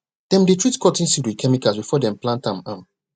dem dey treat cotton seed with chemicals before dem plant am am